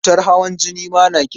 Cutar hawan jini ma na kisa.